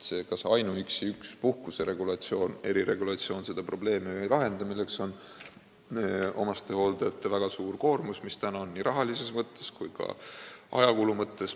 Ega ainuüksi üks puhkuse eriregulatsioon ju ei lahenda seda probleemi, omastehooldajate väga suurt koormust nii rahalises kui ka ajakulu mõttes.